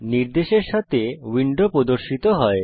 নির্দেশের সাথে উইন্ডো প্রদর্শিত হয়